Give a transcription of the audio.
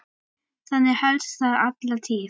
Þannig hélst það alla tíð.